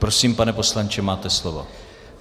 Prosím, pane poslanče, máte slovo.